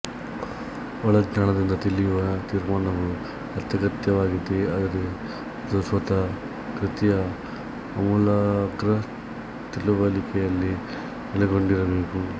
ಒಳಜ್ಞಾನದಿಂದ ತಿಳಿಯುವ ತೀರ್ಮಾನವು ಅತ್ಯಗತ್ಯವಾಗಿದೆ ಆದರೆ ಅದು ಸ್ವತಃ ಕೃತಿಯ ಆಮೂಲಾಗ್ರ ತಿಳುವಳಿಕೆಯಲ್ಲಿ ನೆಲೆಗೊಂಡಿರಬೇಕು